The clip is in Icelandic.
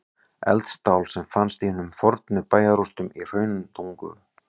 Eldstál sem fannst í fornum bæjarrústum í Hrauntungu.